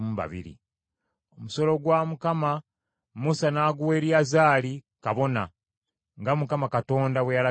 Omusolo gwa Mukama , Musa n’aguwa Eriyazaali kabona, nga Mukama Katonda bwe yalagira Musa.